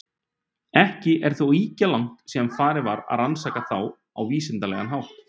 Ekki er þó ýkja langt síðan farið var að rannsaka þá á vísindalegan hátt.